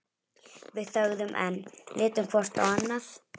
Við þögðum enn, litum hvort á annað.